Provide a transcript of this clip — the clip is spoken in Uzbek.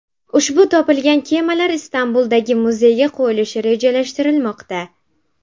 Ushbu topilgan kemalar Istanbuldagi muzeyga qo‘yilishi rejalashtirilmoqda.